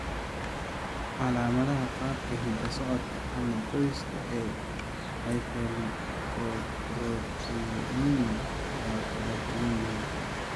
Calaamadaha qaabka hidda-socodka ama qoyska ee hypolipoproteinemia waa kala duwan yihiin.